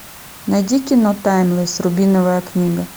найди кино таймлесс рубиновая книга